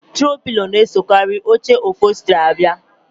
Trow pilo na-esokarị oche ọpholstri abia